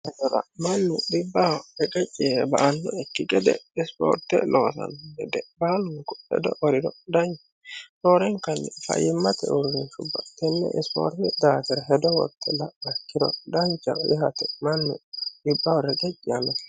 mannu dhibbaho reqecci ye"e ba annokki gede ispoorte loosanno gede baalunku ledo woriro danchao roorenkanni fayyimmate uurriinshubba tenne ispoortete daafira hedo worte la'auha ikkiro dancha yaate mannu dhibbaho reqecci yaannokki gede.